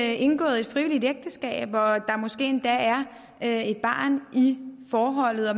er indgået et frivilligt ægteskab og der måske endda er et barn i forholdet og